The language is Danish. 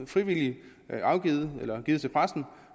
frivilligt bliver givet til pressen